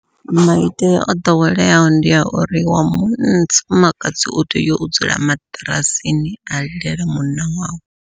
Maitele o ḓoweleaho ndi a uri wa munna wa mufumakadzi u tea u dzula maṱirasini a lilela munna wawe.